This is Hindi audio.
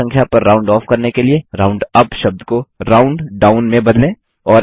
निचली पूर्ण संख्या पर राउंड ऑफ़ करने के लिए राउंडअप शब्द को राउंडाउन में बदलें